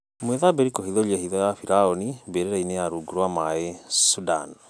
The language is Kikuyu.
Mwithabĩri kũhithũria hitho ya biraũni mbĩrĩrainĩ ya rũngu rwa maĩ Sudani